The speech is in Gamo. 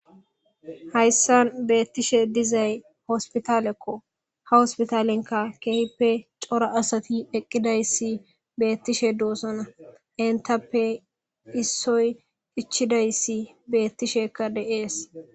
hayssan beettishe dizay hospitalekko ha hospitalenka keehippe cora asati eqqidayssi beettishe doossana entappe issoy ichidayssi beettishekka de7ees